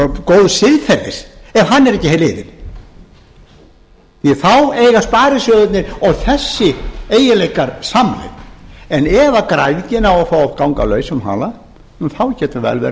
góðs siðferðis er ekki liðinn því að þá eiga sparisjóðirnir og þessir eiginleikar samleið en ef græðgin á að fá að ganga lausum halda getur